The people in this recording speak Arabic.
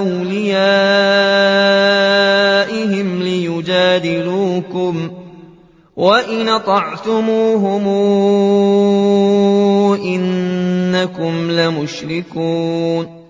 أَوْلِيَائِهِمْ لِيُجَادِلُوكُمْ ۖ وَإِنْ أَطَعْتُمُوهُمْ إِنَّكُمْ لَمُشْرِكُونَ